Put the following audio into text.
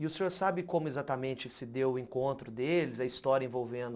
E o senhor sabe como exatamente se deu o encontro deles, a história envolvendo